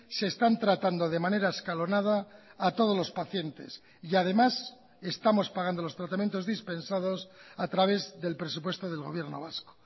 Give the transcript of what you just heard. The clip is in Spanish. se están tratando de manera escalonada a todos los pacientes y además estamos pagando los tratamientos dispensados a través del presupuesto del gobierno vasco